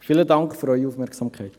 Vielen Dank für Ihre Aufmerksamkeit.